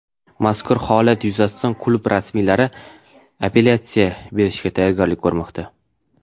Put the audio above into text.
Mazkur holat yuzasidan klub rasmiylari apellyatsiya berishga tayyorgarlik ko‘rmoqda.